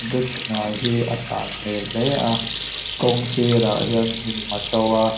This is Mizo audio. bridge hnuai hi a san hmelh hle a kawr sîr ah hian hnim a ṭo a.